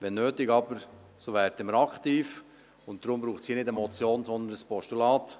Wenn nötig, werden wir aber aktiv, und deshalb braucht es hier keine Motion, sondern ein Postulat.